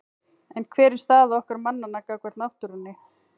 En hver er staða okkar mannanna gagnvart náttúrunni?